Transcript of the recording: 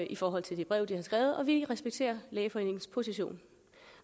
i forhold til det brev de har skrevet og vi respekterer lægeforeningens position